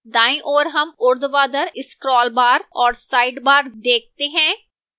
दाईं ओर हम ऊर्ध्वाधर scroll bar और sidebar देखते हैं